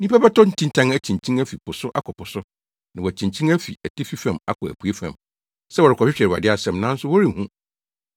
Nnipa bɛtɔ ntintan akyinkyin afi po so akɔ po so, na wɔakyinkyin afi atifi fam akɔ apuei fam, sɛ wɔrekɔhwehwɛ Awurade asɛm, nanso wɔrenhu.